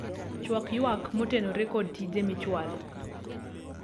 chwak ywak moterone kod tije michwalo